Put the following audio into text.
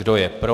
Kdo je pro?